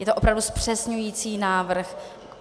Je to opravdu zpřesňující návrh.